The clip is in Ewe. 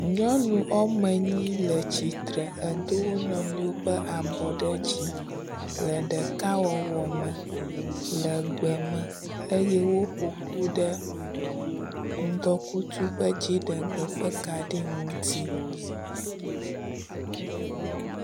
Nyɔ wome enyi le tsitre edo wonuiwo ƒe abɔ ɖe dzi le ɖekawɔwɔ me le gbe me eye woƒo ƒu ɖe ŋdɔkutsu ƒe dziɖegbe ƒe kaɖi ŋuti.